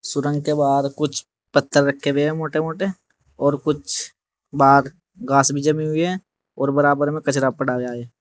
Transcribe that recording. सुरंग के बाहर कुछ पत्थर रखे हुए मोटे मोटे और कुछ बाहर घास भी जमी हुई है और बराबर में कचरा पड़ा हुआ है।